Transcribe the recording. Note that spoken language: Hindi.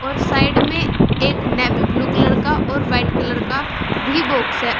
और साइड में एक नेवी ब्लू कलर का और व्हाइट कलर का भी बॉक्स है।